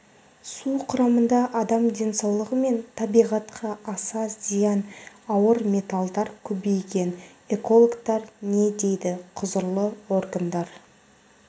су құрамында адам денсаулығы мен табиғатқа аса зиян ауыр металдар көбейген экологтар не дейді құзырлы органдар